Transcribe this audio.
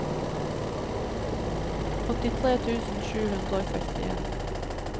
åttitre tusen sju hundre og sekstien